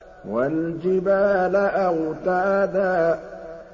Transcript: وَالْجِبَالَ أَوْتَادًا